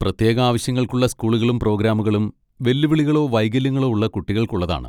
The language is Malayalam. പ്രത്യേക ആവശ്യങ്ങൾക്കുള്ള സ്കൂളുകളും പ്രോഗ്രാമുകളും വെല്ലുവിളികളോ വൈകല്യങ്ങളോ ഉള്ള കുട്ടികൾക്കുള്ളതാണ്.